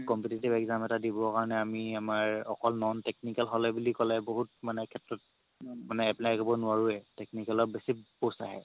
competitive exam এটা দিব কাৰণে আমি আমাৰ অকল non technical হ'লে বুলি ক'লে বহুত সেত্ৰত মানে apply কৰিব নোৱাৰোৱে technical ৰ বেচি post আহে